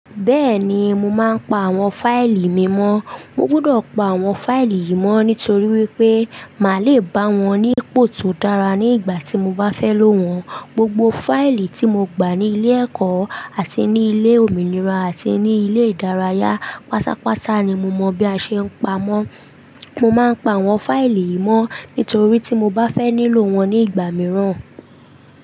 Bẹ́ẹ̀ni, mo máa ń pa àwọn fáìlì mi mọ́. Mo gbudọ̀ pa àwọn fáìlì yìí mọ́ nítorí wípé màá le bá wọn ní ipò tó dára ní ìgbà tí mo bá fẹ́ lò wọ́n. Gbogbo fáìlì tí mo gbà ní ilé ẹ̀kọ́ àti ní ilé òmìnira àti ní ilé ìdárayá, pátápátá ni mo mọ̀ bí a ṣe ń pa wọ́n. Mo máa ń pa àwọn fáìlì yìí mọ́ nítorí tí mo bá fẹ́ nílò wọ́n ní ìgbà mìíràn.